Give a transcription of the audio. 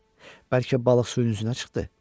Bəlkə balıq suyun üzünə çıxdı?